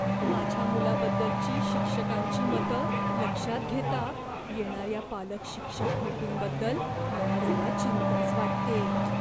माझ्या मुलाबद्दलची शिक्षकांची मतं लक्षात घेता येणाऱ्या पालक शिक्षक मिटिंगबद्दल मला जरा चिंताच वाटतेय.